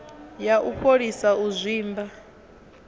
ya u fholisa u zwimba